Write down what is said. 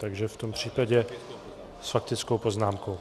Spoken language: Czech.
Takže v tom případě... s faktickou poznámkou.